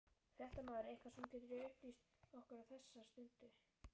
Fréttamaður: Eitthvað sem þú getur upplýst okkur á þessar stundu?